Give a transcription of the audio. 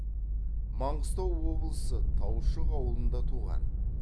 маңғыстау облысы таушық ауылында туған